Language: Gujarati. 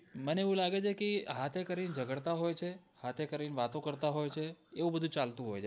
મને એવું લાગે છે કે હાથે કરી ને જગાડતાં હોય છે ને હાથે કરી ને વાતું કરતા હોય છે એવું બધું ચાલતું હોય છે